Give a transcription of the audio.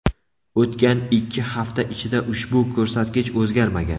O‘tgan ikki hafta ichida ushbu ko‘rsatkich o‘zgarmagan.